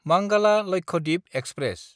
मांगाला Lakshadweep express